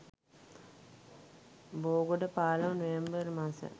බෝගොඩ පාලම නොවැම්බර් මස